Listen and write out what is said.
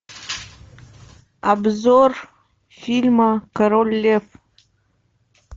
обзор фильма король лев